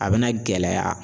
A bɛna gɛlɛya